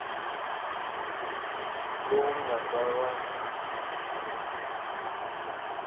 lowu nga ta va wu